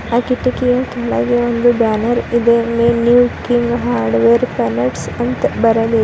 ಆ ಕಿಟಕಿಯ ಕೆಳಗೆ ಒಂದು ಬ್ಯಾನರ್ ಇದೆ May New King Hardware Paints ಅಂತ ಬರದಿದೆ.